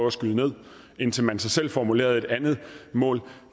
at skyde ned indtil man så selv formulerede et andet mål